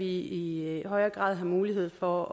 i højere grad have mulighed for